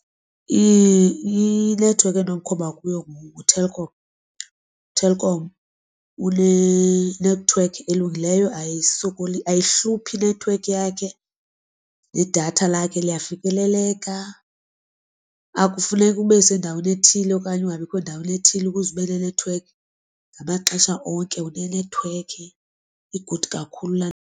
Inethiwekhi endinomkhomba kuyo nguTelkom, uTelkom unenethiwekhi elungileyo ayisokolisi ayihluphi nethiwekhi yakhe. Nedatha lakhe liyafikeleleka akufuneki ube sendaweni ethile okanye ungabikho ndaweni ethile ukuze ube nenethiwekhi. Ngamaxesha onke unenethiwekhi igudi kakhulu laa .